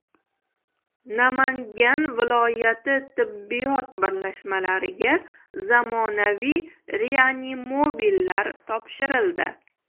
Namangan viloyati tibbiyot birlashmalariga zamonaviy reanimobillar topshirildi.